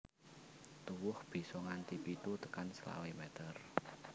Tuwuh bisa nganti pitu tekan selawe meter